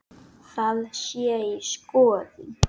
Það sé í skoðun.